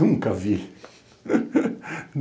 Nunca vi.